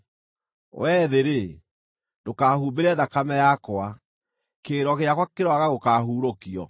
“Wee thĩ-rĩ, ndũkahumbĩre thakame yakwa; kĩrĩro gĩakwa kĩroaga gũkaahuurũkio!